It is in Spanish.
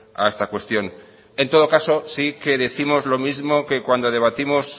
a esta cuestión en todo caso sí que décimos lo mismo que en cuando debatimos